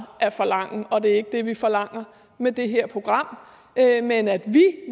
at forlange og det er ikke det vi forlanger med det her program men at vi